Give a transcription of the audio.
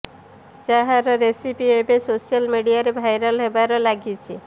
ଯାହାର ରେସିପି ଏବେ ସୋଶାଲ ମିଡିଆରେ ଭାଇରାଲ୍ ହେବାରେ ଲାଗିଛି